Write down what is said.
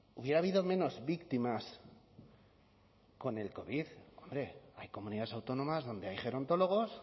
hubiera habido menos víctimas con el covid hombre hay comunidades autónomas donde hay gerontólogos